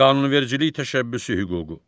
Qanunvericilik təşəbbüsü hüququ.